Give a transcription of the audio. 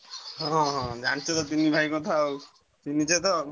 ହଁ ହଁ ଜାଣିଛ ତ ତିନି ଭାଇ କଥା ଆଉ ଚିହ୍ନିଛତ ଆଉ।